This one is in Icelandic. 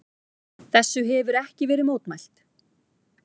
Þessu hefir ekki verið mótmælt.